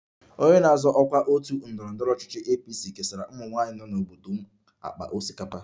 Onye na-azọ ọkwa otu ndọrọ ndọrọ ọchịchị APC kesara ụmụnwaanyị nọ n'obodo m akpa osikapa